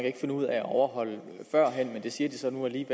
ikke finde ud af at overholde førhen men det siger de så nu at de